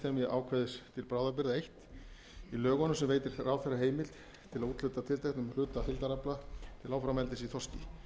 ákvæðis til bráðabirgða eins í lögunum sem veitir ráðherra heimild til að úthluta tilteknum hluta heildarafla til áframeldis í þorski